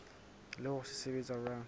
le hore se sebetsa jwang